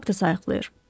Nə haqda sayiqlayır?